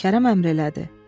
Kərəm əmr elədi: